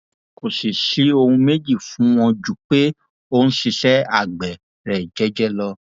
kò sì ṣe ohun méjì fún wọn ju pé ó ń ṣiṣẹ àgbẹ rẹ jẹẹjẹ lọ